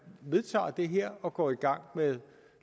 vedtager det her og går i gang med